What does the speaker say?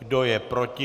Kdo je proti?